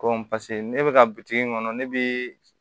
Ko paseke ne bɛ ka bitiki in kɔnɔ ne bɛ